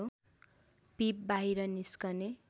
पीप बाहिर निस्कने